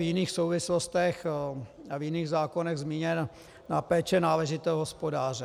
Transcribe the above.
V jiných souvislostech a v jiných zákonech je zmíněna péče náležitého hospodáře.